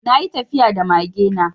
Na yi tafiya da mage na.